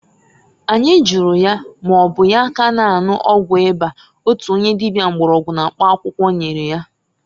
Anyi juru ya maọbụ ya ka na-anwụ ọgwụ ịba (ọgwụ akịrị) otu onye dịbịa mgbọrọgwụ na mkpa akwụkwọ nyere ya?